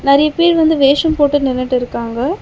நெறைய பேர் வந்து வேஷம் போட்டு நின்னுட்டிருக்காங்க.